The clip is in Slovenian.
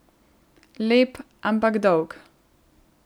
Lep, ampak dolg.